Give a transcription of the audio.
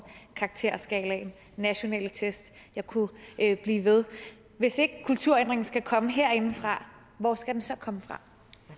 karakterskalaen de nationale test og jeg kunne blive ved hvis ikke kulturændringen skal komme herindefra hvor skal den så komme